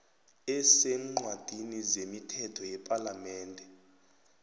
eseencwadini zemithetho yepalamende